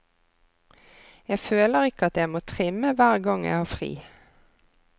Jeg føler ikke at jeg må trimme hver gang jeg har fri.